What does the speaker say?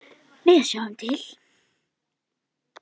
Við sjáum til.